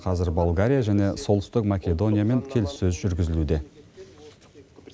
қазір болгария және солтүстік македониямен келіссөз жүргізілуде